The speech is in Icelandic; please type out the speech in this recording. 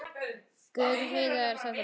Guð, Heiða, er þetta blóð?